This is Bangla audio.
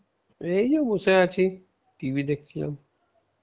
এই যে বসে আছি, TV দেখছিলাম